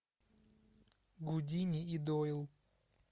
гудини и дойл